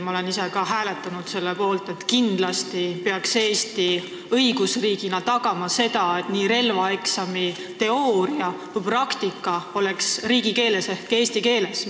Ma olen ise ka hääletanud selle poolt, et kindlasti peaks Eesti õigusriigina tagama selle, et nii relvaeksami teooriaosa kui ka praktikaosa tehtaks riigikeeles ehk eesti keeles.